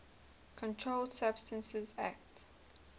controlled substances acte